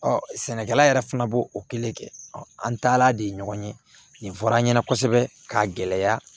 sɛnɛkɛla yɛrɛ fana b'o o kelen kɛ an taala de ɲɔgɔn ye nin fɔra an ɲɛna kosɛbɛ k'a gɛlɛya